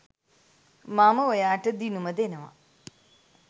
මම ඔයාට දිනුම දෙනව